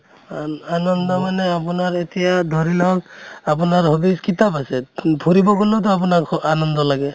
আন আনন্দ মানে আপোনাৰ এতিয়া ধৰি লওঁক আপোনাৰ hobbies কিতাপ আছে ধৰিব গʼলেওতো আপোনাৰ অ আনন্দ লাগে